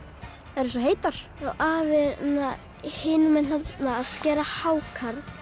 þær eru svo heitar afi er hinum megin að skera hákarl